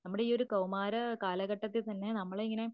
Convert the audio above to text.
നമ്മൾ ഈ ഒരു കൗമാര കാലഘട്ടത്തിൽത്തന്നെ നമ്മളെയിങ്ങനെ